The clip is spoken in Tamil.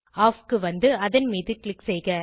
ஆஃப் க்கு வந்து அதன் மீது க்ளிக் செய்க